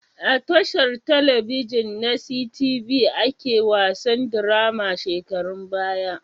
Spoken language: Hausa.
A tashar talabijin na sitibi ake wasan dirama shekarun baya